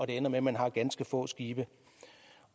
ender med at man har ganske få skibe